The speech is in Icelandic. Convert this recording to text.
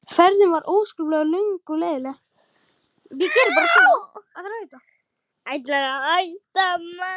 Ferðin var óskaplega löng og leiðinleg.